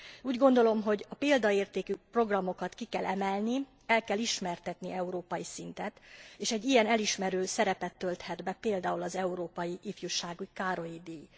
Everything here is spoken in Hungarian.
Úgy gondolom, hogy a példaértékű programokat ki kell emelni, el kell ismertetni európai szinten, és egy ilyen elismerő szerepet tölthet be például az Európai Ifjúsági Károly díj.